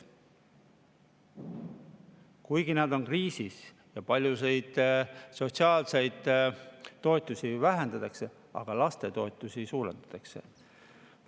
Kuigi nad on kriisis ja paljusid sotsiaalseid toetusi vähendatakse, lastetoetusi suurendatakse.